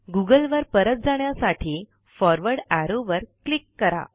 Google वर परत जाण्यासाठी फॉरवर्ड एरो वर क्लिक करा